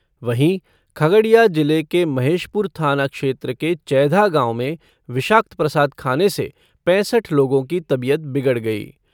वहीं, खगड़िया जिले के महेशपुर थाना क्षेत्र के चैधा गांव में विषाक्त प्रसाद खाने से पैंसठ लोगों की तबीयत बिगड़ गयी।